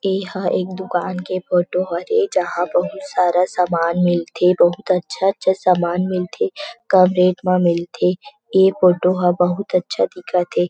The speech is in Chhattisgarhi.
ऐ हा एक दुकान के फोटो हरे जहाँ बहुत सारा सामान मिलथे बहुत अच्छा-अच्छा सामान मिलथे कम रेट मा मिलथे ऐ फोटो ह बहुत अच्छा दिखत हे ।